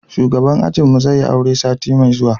shugaban ajin mu zai yi aure sati mai zuwa